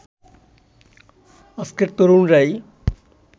আজকের তরুণরাই